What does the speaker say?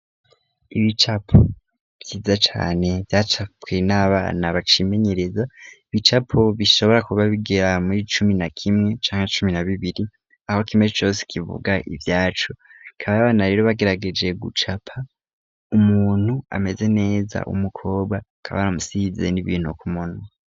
Ibicapo vyiza cane vyacapwe n'abana bacimenyereza, ibicapo bishobora kuba bigera muri cumi na kimwe canke cumi na bibiri, aho kimwe cose kivuga ivyaco. Bakaba abana rero bagerageje gucapa umuntu ameze neza w'umukobwa, bakaba baramusize n'ibintu ku munwa.